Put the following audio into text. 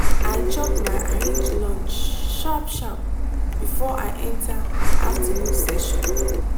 i chop my arrange lunch sharp sharp before i enter afternoon session.